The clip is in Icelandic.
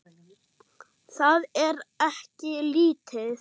Það er ekki lítið.